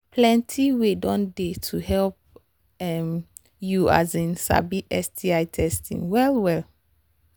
plenty way don they to help um you um sabi sti testing well well